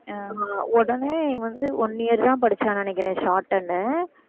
உடனே வந்து one year தான் படிச்சான்னு நினைக்கிறேன் shorthand